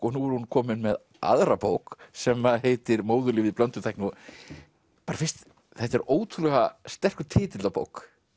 og nú er hún komin með aðra bók sem heitir móðurlífið blönduð tækni þetta er ótrúlega sterkur titill á bók